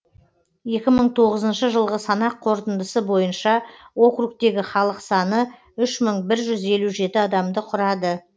екі мың тоғызыншы жылғы санақ қорытындысы бойынша округтегі халық саны үш мың бір жүз елу жеті адамды құрады